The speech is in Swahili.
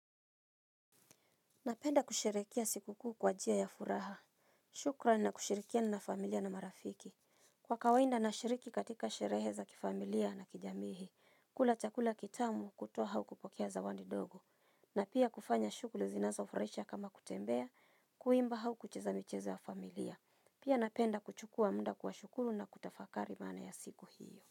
Napenda kusherehekea siku kuu kwa njia ya furaha. Shukrani na kushirikiana na familia na marafiki. Kwa kawaida nashiriki katika sherehe za kifamilia na kijamii. Kula chakula kitamu kutoa au kupokea zawadi ndogo. Na pia kufanya shughuli zinazofurahisha kama kutembea, kuimba au kucheza michezo ya familia. Pia napenda kuchukua muda kuwashukuru na kutafakari maana ya siku hiyo.